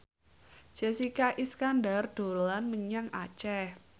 Jessica Iskandar dolan menyang Aceh